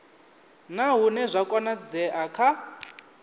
na hune zwa konadzea kha